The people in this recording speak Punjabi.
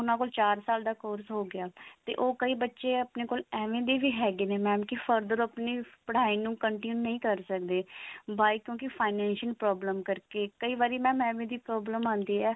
ਉਹਨਾਂ ਕੋਲ ਛਾ ਸਾਲ ਦਾ course ਹੋਗਿਆ ਤੇ ਕਈ ਬੱਚੇ ਆਪਣੇ ਕੋਲ ਏਵੇਂ ਦੇ ਵੀ ਹੈਗੇ ਨੇ mam further ਆਪਣੀ ਪੜ੍ਹਾਈ ਨੂੰ continue ਨਹੀ ਕਰ ਸਕਦੇ why ਕਿਉਂਕਿ financial problem ਕਰਕੇ ਕਈ ਵਾਰੀ mam ਏਵੇਂ ਦੀ problem ਆਉਂਦੀ ਹੈ